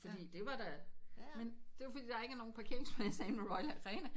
Fordi det var da men det fordi ikke er nogen parkeringspladser inde i royal arena